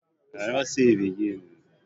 Duka babu Malamai a ajin